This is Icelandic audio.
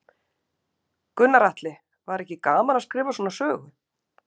Gunnar Atli: Var ekki gaman að skrifa svona sögu?